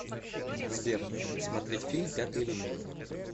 сбер смотреть фильм пятый элемент